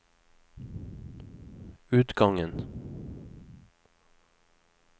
utgangen